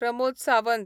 Pramod Sawant